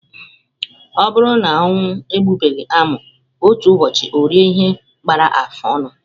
Ọ bụrụ na ọnwụ egbughị amụ, otu ụbọchị orie ihe gbara afụ ọnụ.